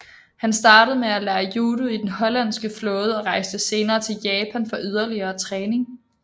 Han startede med at lære judo i den hollandske flåde og rejste senere til Japan for yderligere træning